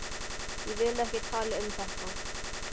Ég vil ekki tala um þetta.